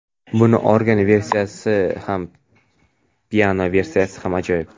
Buni organ versiyasi ham piano versiyasi ham ajoyib.